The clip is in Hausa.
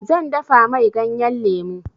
Zan dafa mai ganyan lemu.